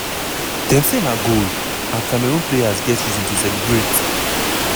dem say na goal and cameroon players get reason to celebrate!